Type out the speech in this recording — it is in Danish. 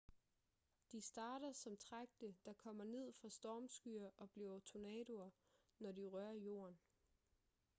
de starter som tragte der kommer ned fra stormskyer og bliver tornadoer når de rører jorden